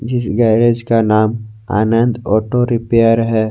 जिस गैरेज का नाम आनंद ऑटो रिपेयर है।